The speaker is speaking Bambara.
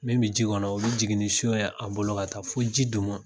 Min bɛ ji kɔnɔ o bɛ jigin ni son ye a bolo ka taa fo ji duguma.